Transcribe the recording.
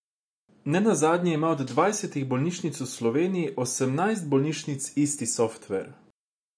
Ne nazadnje ima od dvajsetih bolnišnic v Sloveniji osemnajst bolnišnic isti softver.